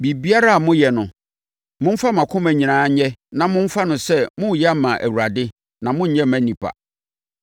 Biribiara a moyɛ no, momfa mo akoma nyinaa nyɛ na momfa no sɛ moreyɛ ama Awurade na monnyɛ mma nnipa.